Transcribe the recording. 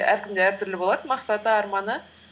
әркімде әртүрлі болады мақсаты арманы